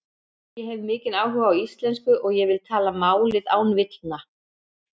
Ég hef mikinn áhuga á íslensku og ég vil tala málið án villna.